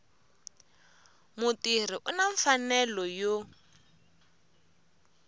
mutirhi u na mfanelo yo